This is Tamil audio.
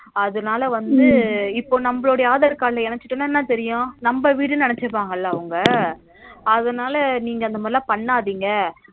அதனால வந்து இப்ப நம்மளுடைய aadhar card லா இணைச்சுட்டோம்னா என்ன தெரியும் நம்ம வீடுன்னு நினைச்சுப்பாங்க இல்ல அவங்க அதனால நீங்க அந்த மாதிரி பண்ணாதீங்க